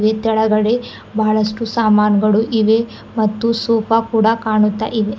ಇದ್ರೊಳಗಡೆ ಬಹಳಷ್ಟು ಸಾಮಾನುಗಳು ಇವೆ ಮತ್ತು ಸೋಫಾ ಕೂಡ ಕಾಣುತ್ತಾ ಇದೆ.